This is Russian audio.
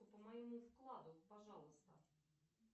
по моему вкладу пожалуйста